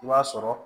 I b'a sɔrɔ